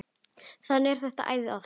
Þannig er það æði oft.